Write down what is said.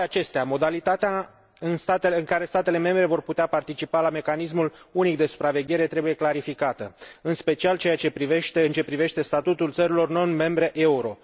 Cu toate acestea, modalitatea în care statele membre vor putea participa la mecanismul unic de supraveghere trebuie clarificată, în special în ceea ce privește statutul țărilor non membre euro.